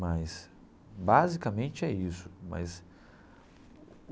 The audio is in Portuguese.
Mas basicamente é isso mas.